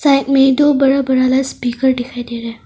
Side में दो बड़ा बड़ा लाउडस्पीकर डिखाई डे रहा है।